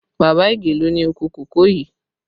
Baba Ige ló ni oko kòkó yii